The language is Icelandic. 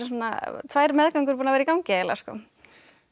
tvær meðgöngur búnar að vera í gangi eiginlega